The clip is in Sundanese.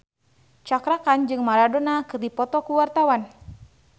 Cakra Khan jeung Maradona keur dipoto ku wartawan